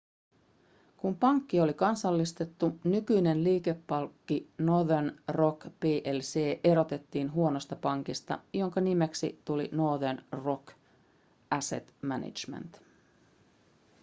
kun pankki oli kansallistettu nykyinen liikepankki northern rock plc erotettiin huonosta pankista jonka nimeksi tuli northern rock asset management